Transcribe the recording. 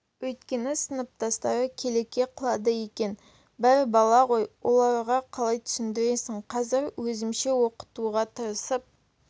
өйткені сыныптастары келеке қылады екен бәрі бала ғой оларға қалай түсіндірерсің қазір өзімше оқытуға тырысып